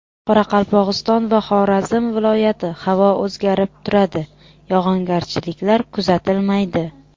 Qoraqalpog‘iston va Xorazm viloyati Havo o‘zgarib turadi, yog‘ingarchiliklar kuzatilmaydi.